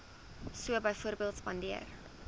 so byvoorbeeld spandeer